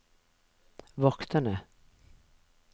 vokterne